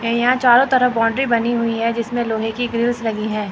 ये यहां चारों तरफ बाउंड्री बनी हुए है जिसमें लोहे के ग्रिल्स लगी है।